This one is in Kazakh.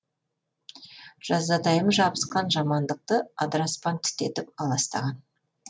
жазатайым жабысқан жамандықты адыраспан түтетіп аластаған